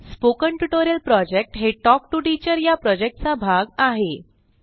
spoken tutorial project हे talk to teacher या प्रॉजेक्टचा भाग आहे